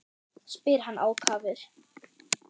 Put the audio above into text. spyr hann ákafur.